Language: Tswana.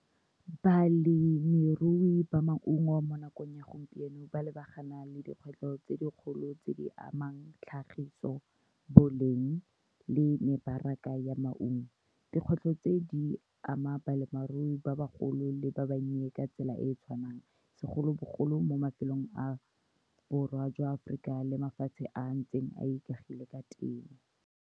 Balemirui ba maungo, mo nakong ya gompieno, ba lebagana le dikgwetlho tse dikgolo tse di amang tlhagiso, boleng le mebaraka ya maungo. Dikgwetlho tse di ama balemirui ba bagolo le ba bannye ka tsela e e tshwanang, segolobogolo mo mafelong a Borwa jwa Aforika le mafatshe a ntseng a ikagile ka teng.